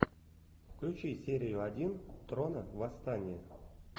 включи серию один трона восстание